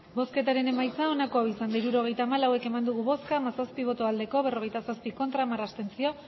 hirurogeita hamalau eman dugu bozka hamazazpi bai berrogeita zazpi ez hamar abstentzio